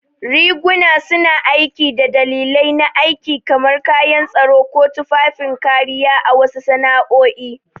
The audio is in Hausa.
Riguna suna aiki da dalilai na aiki, kamar kayan tsaro ko tufafin kariya a wasu sana'o'i.